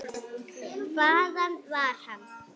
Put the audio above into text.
Hvaðan var hann?